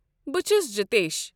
بہٕ چھُس جِتیش۔